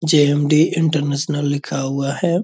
JMD. International लिखा हुआ है।